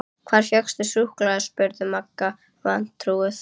Hvar fékkstu súkkulaði? spurði Magga vantrúuð.